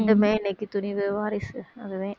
ரெண்டுமே இன்னைக்கு துணிவு வாரிசு அதுவே